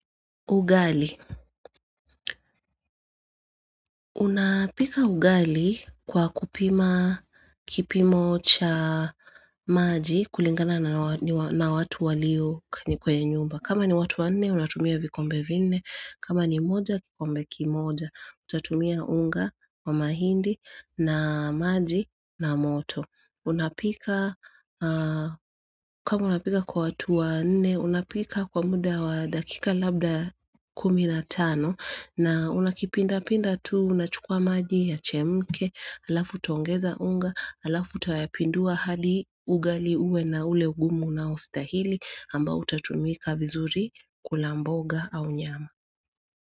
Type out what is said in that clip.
Ugali. Unapika ugali kwa kupima kipimo cha maji kulingana na watu walio kwenye nyumba. Kama ni watu wane, unatumia vikombe vine. Kama ni moja, kikombe kimoja. Utatumia unga wa mahindi na maji na moto. Unapika, kwa unapika kwa watu wa nne, unapika kwa muda wa dakika labda kuminatano. Na unakipinda pinda tu, unachukua maji ya chemke, alafu tongeza unga, alafu tayapindua hali ugali uwe na ule ugumu na ustahili amba utatumika vizuri kulamboga au nyama.